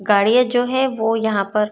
गाड़ियां जो है वो यहां पर--